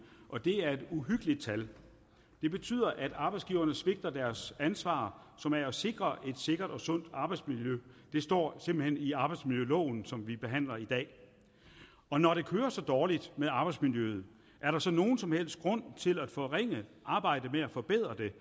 og det er et uhyggeligt tal det betyder at arbejdsgiverne svigter deres ansvar som er at sikre et sikkert og sundt arbejdsmiljø det står simpelt hen i arbejdsmiljøloven som vi behandler i dag og når det går så dårligt med arbejdsmiljøet er der så nogen som helst grund til at forringe arbejdet med at forbedre det